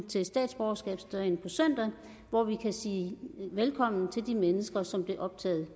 til statsborgerskabsdagen på søndag hvor vi kan sige velkommen til de mennesker som blev optaget